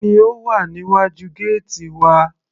Kí ni ó wà níwájú gẹ́ẹ́tì wa.